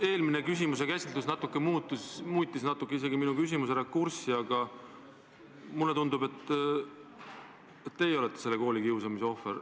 Eelmise küsimuse vastus natuke muutis minu küsimuse rakurssi, aga mulle tundub, et teie olete ka koolikiusamise ohver.